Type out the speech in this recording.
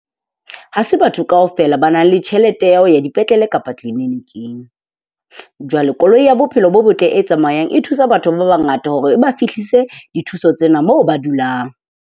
Ha se batho kaofela ba nang le tjhelete ya ho ya dipetlele kapa tleleniking. Jwale koloi ya bophelo bo botle e tsamayang e thusa batho ba bangata hore e ba fihlise dithuso tsena moo ba dulang.